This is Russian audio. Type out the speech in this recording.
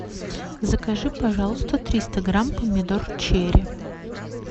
закажи пожалуйста триста грамм помидор черри